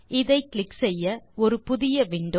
இதை கிளிக் செய்ய ஒரு புது விண்டோ